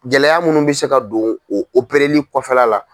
Gɛlɛya munnu bɛ se ka don o opereli kɔfɛla la.